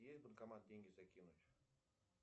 есть банкомат деньги закинуть